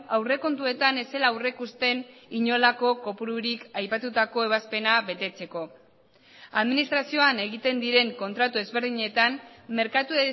aurrekontuetan ez zela aurreikusten inolako kopururik aipatutako ebazpena betetzeko administrazioan egiten diren kontratu ezberdinetan merkatu